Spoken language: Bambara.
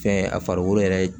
Fɛn a farikolo yɛrɛ